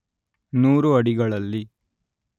ನೂರು ಅಡಿಗಳಲ್ಲಿ